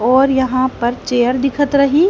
और यहां पर चेयर दिखत रही।